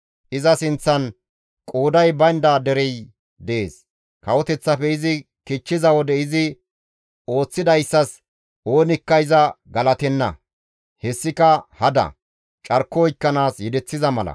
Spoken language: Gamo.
Iza sinththan qooday baynda derey dees; kawoteththafe izi kichchiza wode izi ooththidayssas oonikka iza galatenna. Hessika hada; carko oykkanaas yedeththiza mala.